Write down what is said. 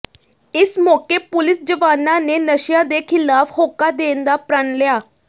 ਇਸ ਮੌਕੇ ਪੁਲੀਸ ਜਵਾਨਾਂ ਨੇ ਨਸ਼ਿਆਂ ਦੇ ਖ਼ਿਲਾਫ਼ ਹੋਕਾ ਦੇਣ ਦਾ ਪ੍ਰਣ ਲਿਆ